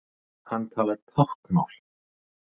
Hann talar táknmál.